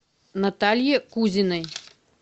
наталье кузиной